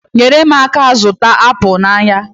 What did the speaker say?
Nyere m aka zụta apụl n'ahịa